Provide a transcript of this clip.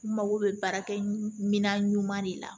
N mago bɛ baara kɛ mina ɲuman de la